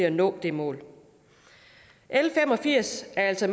at nå det mål l fem og firs er altså